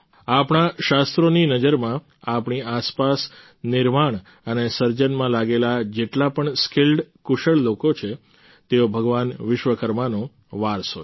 આપણા શાસ્ત્રોની નજરમાં આપણી આસપાસ નિર્માણ અને સર્જનમાં લાગેલા જેટલા પણ સ્કિલ્ડ કુશળ લોકો છે તેઓ ભગવાન વિશ્વકર્માનો વારસો છે